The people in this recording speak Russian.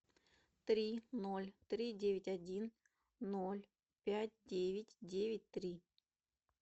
три ноль три девять один ноль пять девять девять три